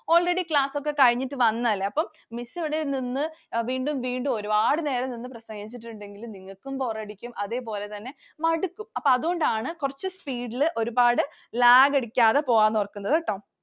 Already class ഒക്കെ കഴിഞ്ഞിട്ട് വന്നത് അല്ലെ. അപ്പൊ Miss ഇവിടെ നിന്ന് വീണ്ടും വീണ്ടും ഒരുപാട് നേരം നിന്ന് പ്രസംഗിച്ചിട്ടുണ്ടെങ്കിൽ നിങ്ങൾക്കും bore അടിക്കും അതേപോലെ തന്നെ മടുക്കും. അപ്പോ അതുകൊണ്ടാണ് കുറച്ചു speed ൽ ഒരുപാട് lag അടിക്കാതെ പോകാമെന്നോർക്കുന്നത് ട്ടോ.